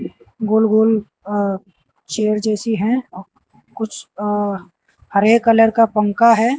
गोल गोल अ चेयर जैसी है कुछ अ हरे कलर का पंखा है।